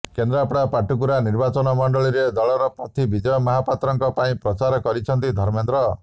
କେନ୍ଦ୍ରାପଡା ପାଟକୁରା ନିର୍ବାଚନ ମଣ୍ଡଳୀରେ ଦଳର ପ୍ରାର୍ଥୀ ବିଜୟ ମହାପାତ୍ରଙ୍କ ପାଇଁ ପ୍ରଚାର କରିଛନ୍ତି ଧର୍ମେନ୍ଦ୍ର